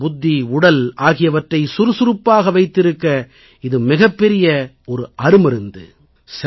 மனம் புத்தி உடல் ஆகியவற்றை சுறுசுறுப்பாக வைத்திருக்க இது மிகப் பெரிய அருமருந்து